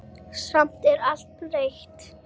Samt er allt breytt.